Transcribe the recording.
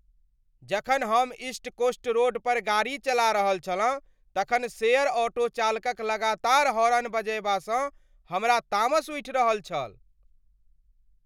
जखन हम east coast road पर गाड़ी चला रहल छलहुँ तखन शेयर ऑटो चालकक लगातार हॉर्न बजयबासँ हमरा तामस उठि रहल छल।